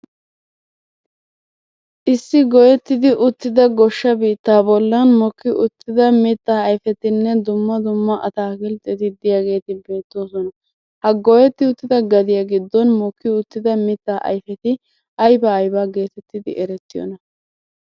issi goyetidi uttida goshsha biittaa bollan mokki uttida mitaa ayfetinne dumma dumma ataakiltetti diyageeti beetoososna. ha goyetti uttida gaddiya giddon mokki utida mitaa ayfeti aybaa aybaa geetettidi erettiyoonaa?